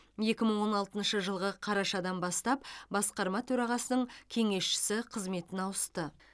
екі мың он алтыншы жылғы қарашадан бастап басқарма төрағасының кеңесшісі қызметіне ауысты